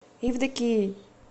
евдокией